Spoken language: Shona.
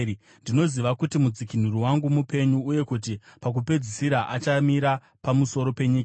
Ndinoziva kuti mudzikinuri wangu mupenyu, uye kuti pakupedzisira achamira pamusoro penyika.